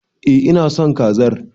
Eh ina son kazar.